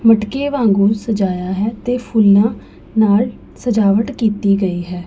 ਮਟਕੇ ਵਾਂਘੁ ਸਜਾਇਆ ਹੈ ਤੇ ਫੁੱਲਾਂ ਨਾਲ ਸਜਾਵਟ ਕੀਤੀ ਗਈ ਹੈ।